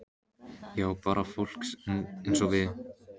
Já, bara fólk eins og við.